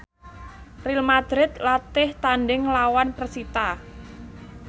Real madrid latih tandhing nglawan persita